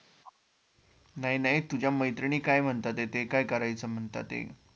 नाही नाही तुझ्या मैत्रिणी काय म्हणतायत, ते काय करायचे म्हणताते?